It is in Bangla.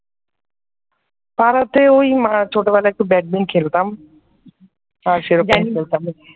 পাড়াতে ওই মা ছোট করে একটু ব্যাডমিন খেলতাম আর সেরকম খেলতাম না ।